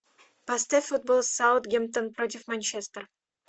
поставь футбол саутгемптон против манчестер